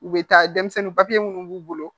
U bɛ taa denmisɛnnin minnu b'u bolo